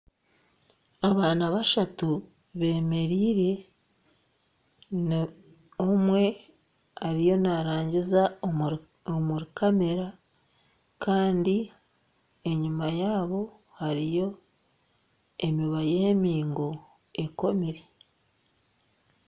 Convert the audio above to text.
Abaana bashatu beemereire kandi omwe ariyo naarangiza omuri kameera kandi enyima yaabo hariyo emiba y'emingo ekomire